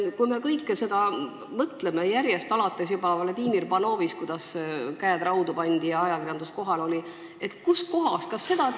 Kui me sellele kõigele mõtleme – alates juba Vladimir Panovist, st kuidas tal käed raudu pandi ja ajakirjandus kohal oli –, siis kust kohast tuleb leke?